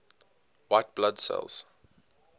white blood cells